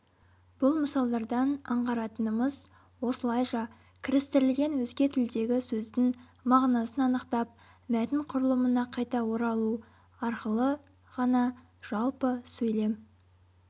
бұл мысалдардан аңғаратынымыз осылайша кірістірілген өзге тілдегі сөздің мағынасын анықтап мәтін құрылымына қайта оралу арқылы ғана жалпы сөйлем